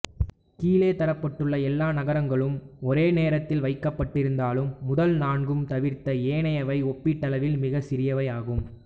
கீழே தரப்பட்டுள்ள எல்லா நகரங்களும் ஒரே தரத்தில் வைக்கப்பட்டிருந்தாலும் முதல் நான்கும் தவிர்ந்த ஏனையவை ஒப்பீட்டளவில் மிகவும் சிறியவை ஆகும்